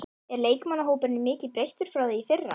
Er leikmannahópurinn mikið breyttur frá því í fyrra?